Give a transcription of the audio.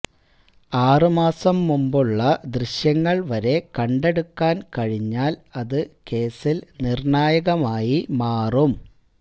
ആറുമാസം മുമ്പുള്ള ദൃശ്യങ്ങൾവരെ കണ്ടെടുക്കാൻ കഴിഞ്ഞാൽ അത് കേസിൽ നിർണായകമായി മാറും